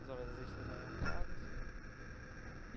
As horas extras não eram pagas.